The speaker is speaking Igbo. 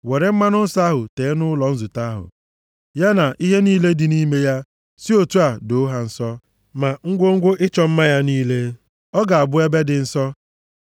“Were mmanụ nsọ ahụ tee ụlọ nzute ahụ, ya na ihe niile dị nʼime ya, si otu a doo ha nsọ ma ngwongwo ịchọ mma ya niile. Ọ ga-abụ ebe dị nsọ.